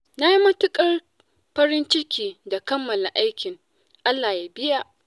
Na yi matuƙar farin ciki da kammala aikin Allah ya biya.